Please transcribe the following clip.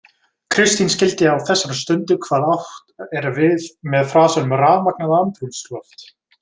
Kristín skildi á þessari stundu hvað átt er við með frasanum „rafmagnað andrúmsloft“.